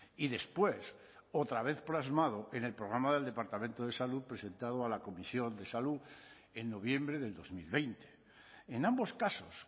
y después otra vez plasmado en el programa del departamento de salud presentado a la comisión de salud en noviembre del dos mil veinte en ambos casos